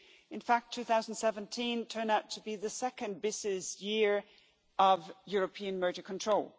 In fact, 2017 turned out to be the second busiest year of European merger control.